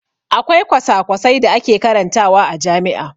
Akwai kwasa-kwasai da ake karantawa a jami'a.